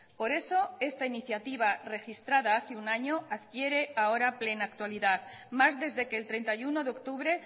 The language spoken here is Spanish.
por eso esta iniciativa registrada hace un año adquiere ahora plena actualidad más desde que el treinta y uno de octubre